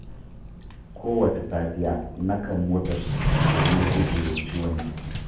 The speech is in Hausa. Kowace safiya, nakan motsa jiki domin guje wa ciwon jiki.